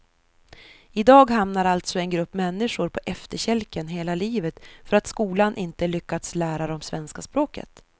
I dag hamnar alltså en grupp människor på efterkälken hela livet för att skolan inte lyckats lära dem svenska språket.